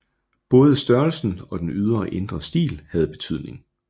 Både størrelsen og den ydre og indre stil havde betydning